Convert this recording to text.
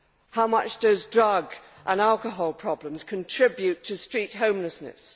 How much do drug and alcohol problems contribute to street homelessness?